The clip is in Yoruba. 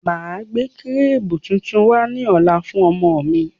Máa gbé kírìbù tuntun wá ní ọ̀la fún ọmọ mi.